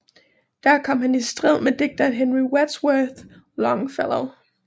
Der kom han i strid med digteren Henry Wadsworth Longfellow